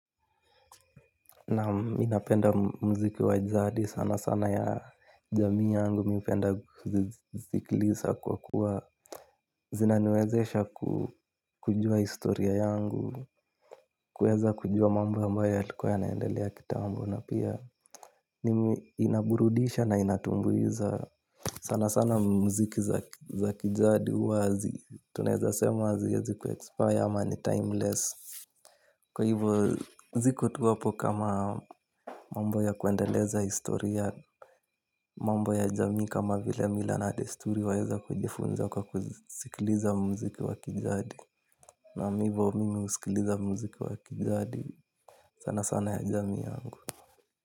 Naam mimi napenda muziki wa jadi sana sana ya jamii yangu napenda kuisikiliza kwa kuwa zinaniwezesha kujua historia yangu. Kuweza kujua mambo ambayo yalikuwa yanaendelea kitambo na pia mimi inaburudisha na inatumbuiza sana sana muziki za kijadi huwa tunaweza sema haziwezi kuexpire ama ni timeless. Kwa hivo ziko tu hapo kama mambo ya kuendeleza historia mambo ya jamii kama vile mila na desturi waeza kujifunza kwa kusikiliza muziki wa kijadi. Naam hivo mimi husikiliza muziki wa kijadi sana sana ya jamii yangu.